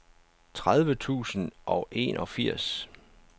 tredive tusind og enogfirs